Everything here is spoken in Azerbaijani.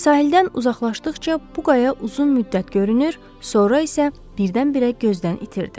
Sahildən uzaqlaşdıqca bu qaya uzun müddət görünür, sonra isə birdən-birə gözdən itirdi.